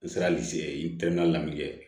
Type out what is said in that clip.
N sera n tɛmɛna min kɛ